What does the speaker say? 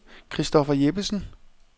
Christopher Jeppesen